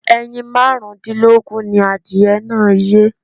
Ẹyin márùn-ún dínlógún ni adìyẹ náà yé.